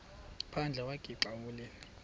phandle wagixa ukulila